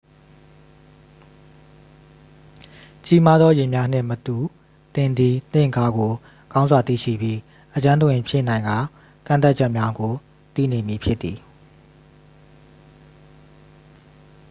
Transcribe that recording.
ကြီးမားသော ယာဉ်များနှင့်မတူ သင်သည်သင့်ကားကို ကောင်းစွာသိရှိပြီး အကျွမ်းတဝင်ဖြစ်နိုင်ကာ ကန့်သတ်ချက်များကို သိနေမည်ဖြစ်သည်